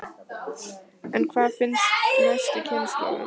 En hvað finnst næstu kynslóðum?